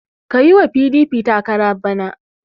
Ka yi wa PDP takara bana!